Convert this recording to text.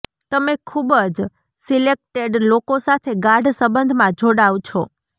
તમે ખુબ જ સિલેક્ટેડ લોકો સાથે ગાઢ સંબંધમાં જોડાવ છો